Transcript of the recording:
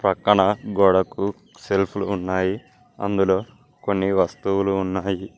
పక్కన గోడకు సెల్ఫ్లు ఉన్నాయి అందులో కొన్ని వస్తువులు ఉన్నాయి.